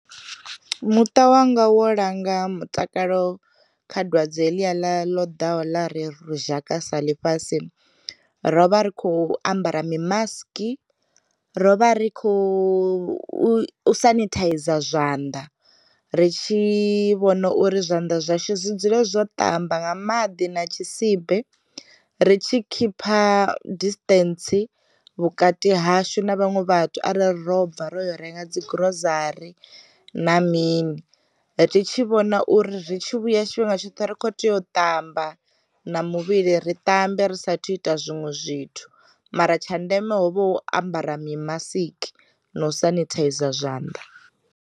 Muṱa wanga wo langa mutakalo kha dwadze heḽiya ḽa ḽo ḓaho ḽa ri zhaka saḽi fhasi, rovha rikho ambara mi maski, ro vha ri kho u sanithaiza zwanḓa, ri tshi vhona uri zwanḓa zwashu zwi dzule zwo tamba nga maḓi na tshisibe, ri tshi khipha disṱentsi vhukati hashu na vhaṅwe vhathu arali robva ro yo renga dzi gurosari na mini, ri tshi vhona uri ri tshi vhuya tshifhinga tshoṱhe ri kho tea u tamba na muvhili ri tambe ri sathu ita zwinwe zwithu, mara tsha ndeme ho vho ambara mi masiki na u senithaiza zwanḓa.